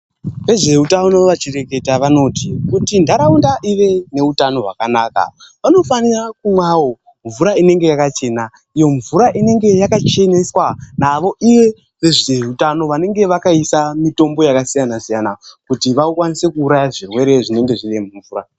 Vezveutano vachireketa vanoti kuti nharaunda iveneutano hwakanaka. Vanofanira kumwawo mvura inenge yakachena. Iyo mvura inenge yakacheneswa navo ivo vezveutsanana vanenge vakaisa mitombo yakasiyana-siyana, kuti vakwanise kuuraya zvirwere zvinenge zviri mumvura.